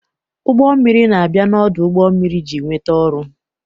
Ụgbọ mmiri na-abịa n'ọdụ ụgbọ mmiri iji nweta ọrụ.